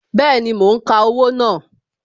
Bẹẹni, mo ń ka owó náà